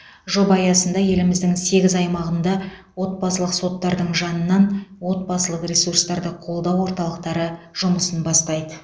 жоба аясында еліміздің сегіз аймағында отбасылық соттардың жанынан отбасылық ресурстарды қолдау орталықтары жұмысын бастайды